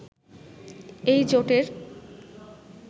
এই জোটের